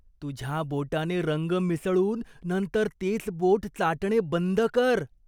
तुझ्या बोटाने रंग मिसळून नंतर तेच बोट चाटणे बंद कर.